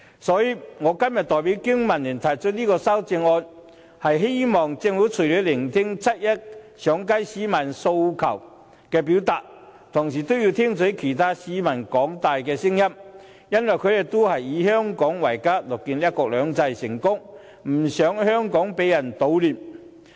所以，我今天代表香港經濟民生聯盟提出修正案，希望政府除了要聆聽七一上街市民表達的訴求外，同時更要聽取其他市民的聲音，因為他們都以香港為家，樂見"一國兩制"成功，不想香港被人搗亂。